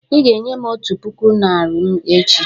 "Ị ga-enye m otu puku naira m echi"